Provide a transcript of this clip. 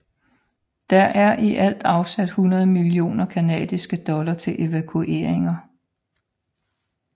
Der er i alt afsat 100 millioner canadiske dollar til evakueringer